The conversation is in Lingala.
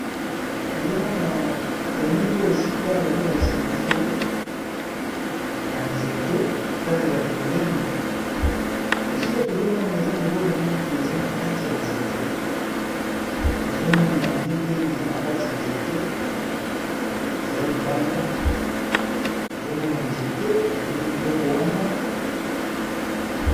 Nazomona na elili oyo esika bazolakisa biso na nzete etalela pembeni esika tozomona eza na eloko moko boyo eza na kati ya nzete ezomonana bien te me eza na kati ya nzete eza libanda tozomona nzete tozomona eloko wana.